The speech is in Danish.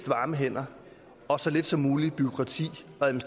varme hænder og så lidt som muligt til bureaukrati